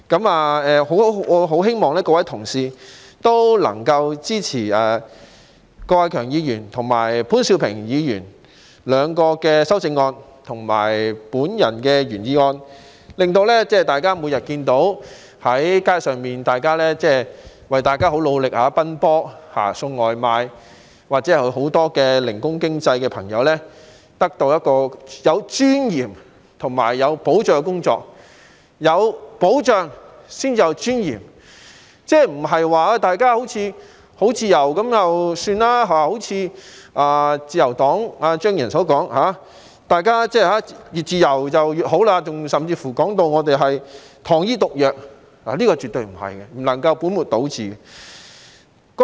我希望各位同事能夠支持郭偉强議員和潘兆平議員的兩項修正案和我的原議案，令大家每天在街上看到，為大家很努力地奔波送外賣或眾多從事零工經濟的朋友得到有尊嚴和有保障的工作，有保障才有尊嚴，不是說他們好像很自由，正如自由黨張宇人議員所說，大家越自由越好，甚至形容我們建議的保障是糖衣毒藥，絕對不是，這樣說根本是倒果為因。